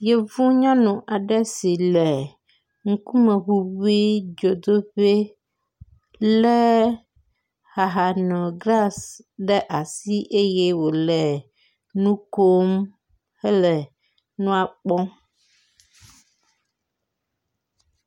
Yevunyɔnu aɖe si le ŋkumeŋuŋui dzodoƒee lé ahanoglasi ɖe asi eye wòle nu kom hele nua kpɔm.